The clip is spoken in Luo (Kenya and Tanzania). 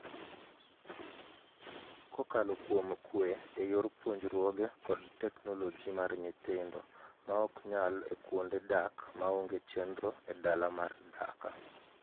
Kokalo kuom kwe eyor puonjruoge kod technologi mar nyithindo maok nyal e kuonde dak ma onge chenro e dala mar dhaka